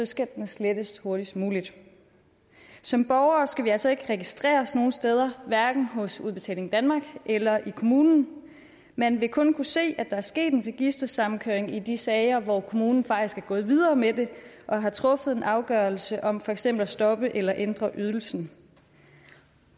skal den slettes hurtigst muligt som borgere skal vi altså ikke registreres nogen steder hverken hos udbetaling danmark eller i kommunen man vil kun kunne se at der er sket en registersammenkøring i de sager hvor kommunen faktisk er gået videre med det og har truffet en afgørelse om for eksempel at stoppe eller ændre ydelsen